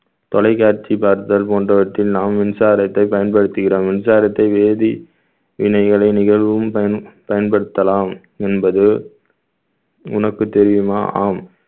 தொலைக்காட்சி பார்த்தல் போன்றவற்றில் நாம் மின்சாரத்தை பயன்படுத்துகிறோம் மின்சாரத்தை வேதி வினைகளை நிகழும் பயன்~ பயன்படுத்தலாம் என்பது உனக்கு தெரியுமா ஆம்